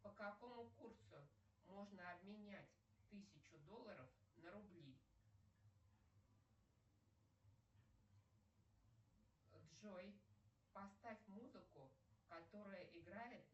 по какому курсу можно обменять тысячу долларов на рубли джой поставь музыку которая играет